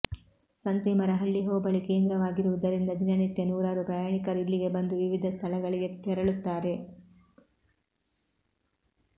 ಸಂತೇಮರಹಳ್ಳಿ ಹೋಬಳಿ ಕೇಂದ್ರವಾಗಿರುವುದರಿಂದ ದಿನನಿತ್ಯ ನೂರಾರು ಪ್ರಯಾಣಿಕರು ಇಲ್ಲಿಗೆ ಬಂದು ವಿವಿಧ ಸ್ಥಳಗಳಿಗೆ ತೆರಳುತ್ತಾರೆ